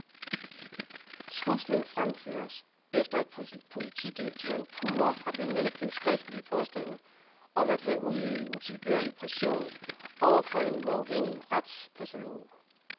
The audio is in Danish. Truslen fremføres, efter at politidirektøren pure har benægtet skriftlige påstande om at have udøvet utilbørlig pression over for en uafhængig retspatalog.